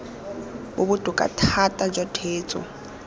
bo bokoa thata jwa theetso